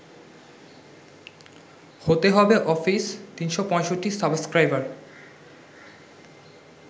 হতে হবে office ৩৬৫ subscriber